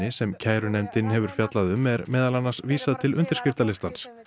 sem kærunefndin hefur fjallað um er meðal annars vísað til undirskriftalistans